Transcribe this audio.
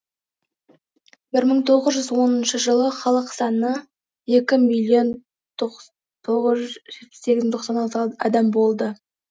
бір мың тоғыз жүз оныншы жылы халық саны екі миллион тоғыз жүз жетпіс сегіз мың тоқсан алты адам болды